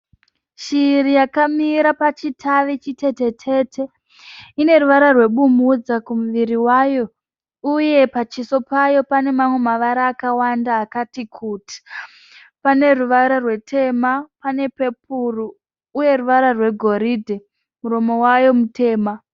Shiri yakamira pachitavi chitete tete, ineruvara rwebumudza pamuvira payo uyepachiso payo pane amwe mavara akawanda akati kuti. Paneruvara rutema panerwe pepuri, uye rwegoride. Pamuromo payo mutema.